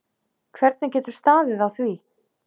Hvernig getur staðið á því.